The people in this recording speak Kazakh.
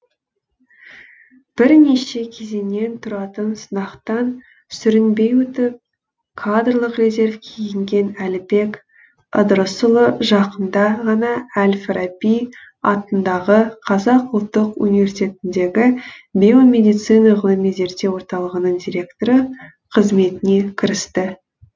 бірнеше кезеңнен тұратын сынақтан сүрінбей өтіп кадрлық резервке енген әлібек ыдырысұлы жақында ғана әл фараби атындағы қазақ ұлттық университетіндегі биомедицина ғылыми зерттеу орталығының директоры қызметіне кірісті